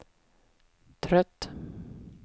trött